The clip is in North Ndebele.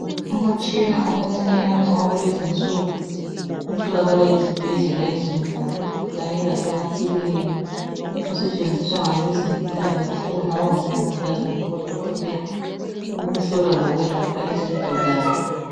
Umutshina omuncinyane owakulezinsuku otholakala ezibhedlela ezinkulu Kanye lasemaklinika osetshenziswa ngabezempilakahle okungaba ngomongikazi kumbe odokotela ukuhlola lokwelapha izigulane.